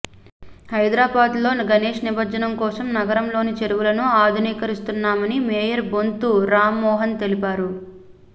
హైదరాబాద్ లో గణేష్ నిమజ్జనం కోసం నగరంలోని చెరువులను ఆధునీకరిస్తున్నామని మేయర్ బొంతు రామ్మోహన్ తెలిపారు